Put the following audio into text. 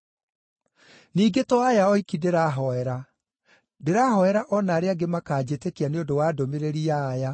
“Ningĩ to aya oiki ndĩrahoera. Ndĩrahoera o na arĩa angĩ makaanjĩtĩkia nĩ ũndũ wa ndũmĩrĩri ya aya,